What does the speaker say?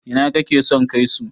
ina kake son kai su?